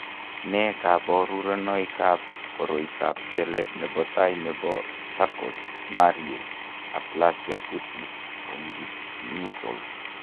Nee kabarunoikab koroitoab kelek nebo tai nebo Charcot Marie aplasia cutis congenital?